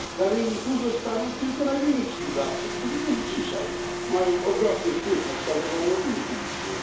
Na rynku zostaną tylko najwięksi wydawcy, którzy już dzisiaj mają ogromny wpływ na kształtowanie opinii publicznej.